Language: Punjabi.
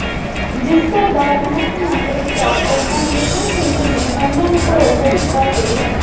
ਜਿਸ ਤੋਂ ਬਾਅਦ ਮੁੱਖ ਮੰਤਰੀ ਕੈਪਟਨ ਅਮਰਿੰਦਰ ਸਿੰਘ ਨੇ ਉਹਨਾਂ ਨੂੰ ਭਰੋਸਾ ਦਿੱਤਾ ਕਿ